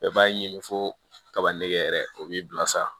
b'a ɲini fo kaba nege yɛrɛ o b'i bila sa